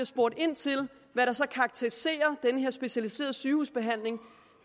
spurgt ind til hvad der så karakteriserer den her specialiserede sygehusbehandling